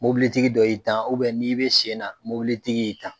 Mɔbilitigi dɔ y'i tan n'i bɛ sen na mɔbilitigi y'i tan.